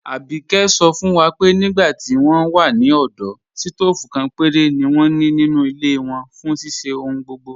Àbíké sọ̀ fún wa pé nígbà tí wọn wà ní ọdọ̀, sítoofú kan pẹ̀rẹ̀ ni wọn ní nínu ilẹ̀ wọn fún ṣíṣẹ̀ ọ̀hùn gbogbo.